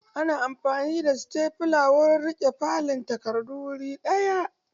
Ana amfani da setafula wurin riƙe fallen takardu wuri ɗaya.